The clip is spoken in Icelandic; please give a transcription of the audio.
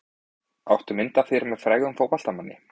Áttu mynd af þér með frægum fótboltamanni?